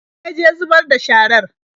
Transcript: Wa ya je zubar da sharar?